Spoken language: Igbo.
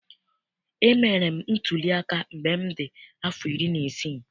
Emere m ntuliaka mgbe m dị afọ iri na isii.